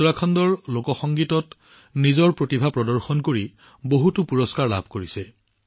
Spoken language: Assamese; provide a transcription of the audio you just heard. উত্তৰাখণ্ডৰ প্ৰতিভাশালী লোক সংগীত শিল্পী পুৰাণ সিংজীয়েও বহুতো বঁটা লাভ কৰিছে